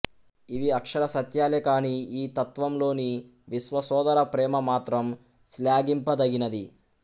ఇవి అక్షర సత్యాలే కాని ఈ తత్వంలోని విశ్వసోదర ప్రేమ మాత్రం శ్లాఘింపదగినది